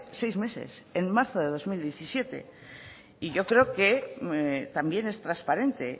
seis meses en marzo del dos mil diecisiete yo creo que también es transparente